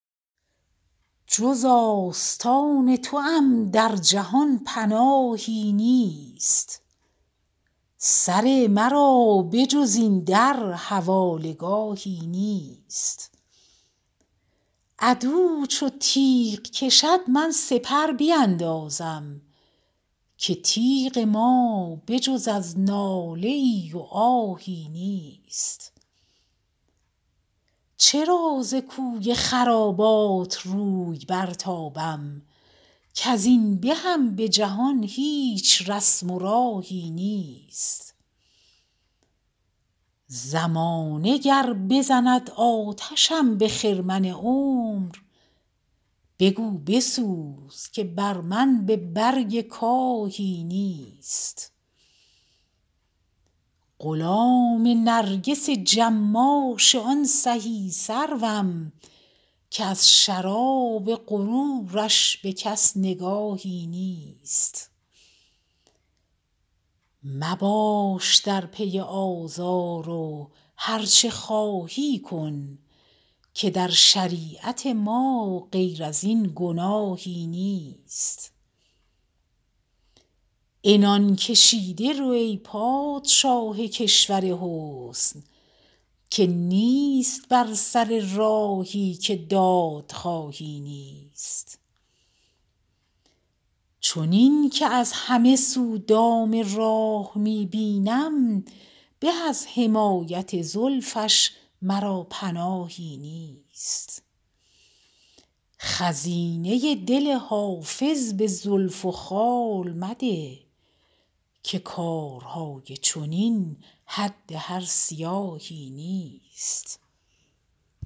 جز آستان توام در جهان پناهی نیست سر مرا به جز این در حواله گاهی نیست عدو چو تیغ کشد من سپر بیندازم که تیغ ما به جز از ناله ای و آهی نیست چرا ز کوی خرابات روی برتابم کز این بهم به جهان هیچ رسم و راهی نیست زمانه گر بزند آتشم به خرمن عمر بگو بسوز که بر من به برگ کاهی نیست غلام نرگس جماش آن سهی سروم که از شراب غرورش به کس نگاهی نیست مباش در پی آزار و هرچه خواهی کن که در شریعت ما غیر از این گناهی نیست عنان کشیده رو ای پادشاه کشور حسن که نیست بر سر راهی که دادخواهی نیست چنین که از همه سو دام راه می بینم به از حمایت زلفش مرا پناهی نیست خزینه دل حافظ به زلف و خال مده که کارهای چنین حد هر سیاهی نیست